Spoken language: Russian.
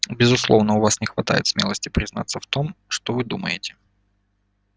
безусловно у вас не хватает смелости признаться в том что вы думаете